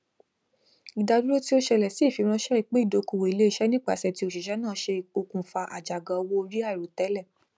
ìdádúró tí ó ṣẹlẹ sí ìfiránṣẹ ìpín ìdókòwò iléeṣẹ nípasẹ ti òṣìṣẹ náà ṣe okùnfà àjàgà owó orí àìròtẹlẹ